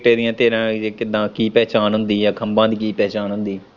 ਤੇਰੀਆਂ ਤੇਰਾਂ ਦੀ ਏ ਕਿੱਦਾ ਕੀ ਪਹਿਚਾਣ ਹੁੰਦੀ ਏ ਖੰਭਾਂ ਦੀ ਕੀ ਪਹਿਚਾਣ ਹੁੰਦੀ।